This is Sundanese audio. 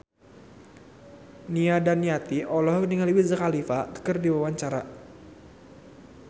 Nia Daniati olohok ningali Wiz Khalifa keur diwawancara